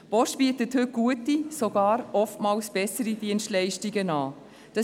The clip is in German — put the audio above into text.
Die Post bietet heute gute, oftmals sogar bessere Dienstleistungen an.